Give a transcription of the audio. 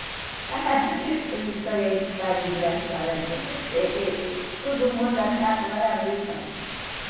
Essa história é tão engraçada que eh eh eh todo mundo até agora ri com isso.